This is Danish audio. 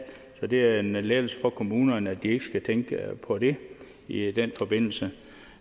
så det er en lettelse for kommunerne at de ikke skal tænke på det i den forbindelse